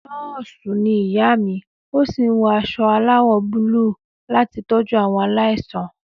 Nọ́ọ̀sì ni ìyá mi ó sì wọ aṣọ aláwọ̀ búlúù láti tọ́jú àwọn aláìsàn.